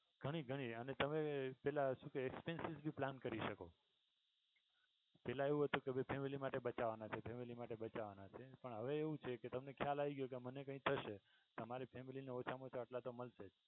ઘણી ઘણી અને તમે પેહલા શું કહે expensive ભી plan કરી શકો પેહલા એવું હતું કે family માટે બચાવાના છે પણ હવે એવું છે કે તમને ખ્યાલ આવી ગયો કે મને કઈ થશે તમારા family ને ઓછા મા ઓછા આટલા તો મળશે જ